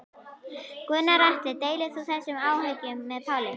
Gunnar Atli: Deilir þú þessum áhyggjum með Páli?